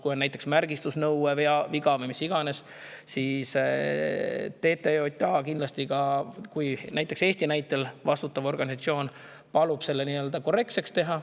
Kui on näiteks märgistusnõude või mis iganes viga, siis TTJA – Eesti näitel – kindlasti palub vastutaval organisatsioonil selle korrektseks teha.